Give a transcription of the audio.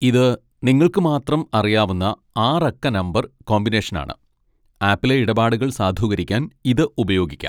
ഇത് നിങ്ങൾക്ക് മാത്രം അറിയാവുന്ന ആറ് അക്ക നമ്പർ കോമ്പിനേഷനാണ്, ആപ്പിലെ ഇടപാടുകൾ സാധൂകരിക്കാൻ ഇത് ഉപയോഗിക്കാം.